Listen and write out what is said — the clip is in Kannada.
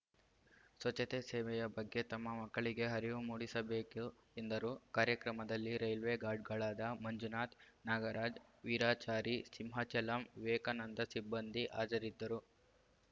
ಸ್ವಚ್ಛತೆ ಸೇವೆಯ ಬಗ್ಗೆ ತಮ್ಮ ಮಕ್ಕಳಿಗೆ ಹರಿವು ಮೂಡಿಸಬೇಕು ಎಂದರು ಕಾರ್ಯಕ್ರಮದಲ್ಲಿ ರೈಲ್ವೆ ಗಾರ್ಡ್‌ಗಳಾದ ಮಂಜುನಾಥ್‌ ನಾಗರಾಜ್‌ ವೀರಾಚಾರಿ ಸಿಂಹಚಲಂ ವಿವೇಕನಂದ ಸಿಬ್ಬಂದಿ ಹಾಜರಿದ್ದರು